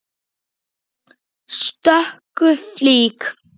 stöku flík.